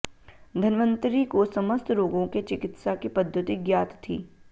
धनवंतरी को समस्त रोगों के चिकित्सा की पद्धति ज्ञात थी